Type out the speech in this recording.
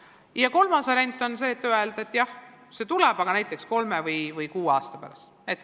Ja kolmas variant on öelda, et jah, see tuleb, aga näiteks kolme või kuue aasta pärast.